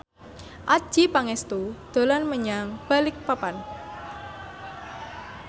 Adjie Pangestu dolan menyang Balikpapan